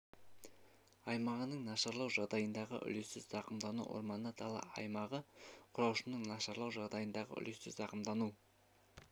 аймағының нашарлау жағдайындағы үлесті зақымдануы орманды дала аймағы құраушысының нашарлауы жағдайындағы үлесті зақымдануы